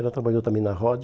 Ela trabalhou também na ROD.